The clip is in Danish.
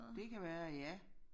Det kan være ja